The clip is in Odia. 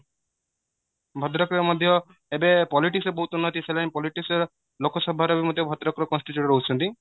ଭଦ୍ରକ ରେ ମଧ୍ୟ ଏବେ politics ବହୁତ ମାତିସାରିଲାଣି politics ର ଲୋକସଭା ରେ ବି ମଧ୍ୟ ଭଦ୍ରକ ର constitute ରହୁଚନ୍ତି